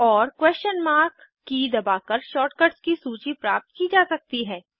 question mark की दबाकर shortcuts की सूची प्राप्त की जा सकती है